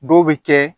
Dɔw bɛ kɛ